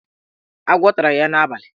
Agwọ tara ya n'abalị.